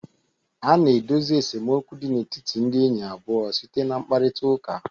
A na-edozi esemokwu dị n'etiti ndị enyi abụọ site na mkparịtaụka.